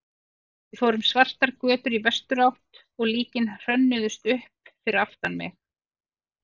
Við fórum svartar götur í vesturátt og líkin hrönnuðust upp fyrir aftan mig.